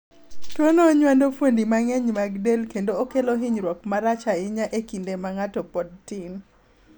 tuono onywando fuondi mang'eny mag del kendo okelo hinyruok marach ahinya e kinde ma ng'ato pod tin